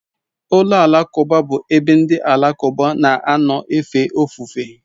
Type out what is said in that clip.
Ụlọ alakụba bụ ebe ndị Alakụba na-anọ efe ofufe.